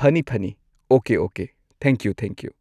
ꯐꯅꯤ ꯐꯅꯤ okay okay thank you thank you